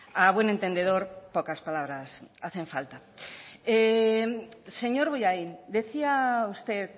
a buen entendedor pocas palabras hacen falta señor bollain decía usted